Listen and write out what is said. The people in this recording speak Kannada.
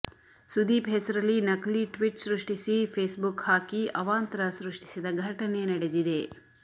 ಸುದೀಪ್ ಹೆಸರಲಿ ನಕಲಿ ಟ್ವಿಟ್ ಸೃಷ್ಟಿಸಿ ಫೇಸ್ಬುಕ್ ಹಾಕಿ ಅವಾಂತರ ಸೃಷ್ಟಿಸಿದ ಘಟನೆ ನಡೆದಿದೆ